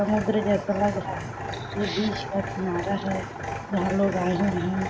समुद्र जैसा लग रहा है ये बीच का किनारा है यहाँ लोग आए हुए है।